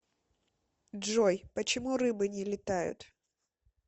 джой почему рыбы не летают